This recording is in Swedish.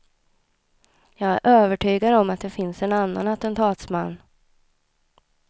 Jag är övertygad om att det finns en annan attentatsman.